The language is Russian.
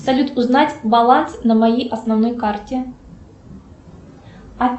салют узнать баланс на моей основной карте